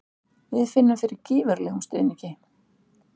Við finnum fyrir gífurlegum stuðningi.